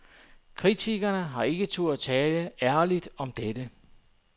Kritikerne har ikke turdet tale ærligt om dette.